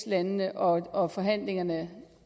landene og forhandlingerne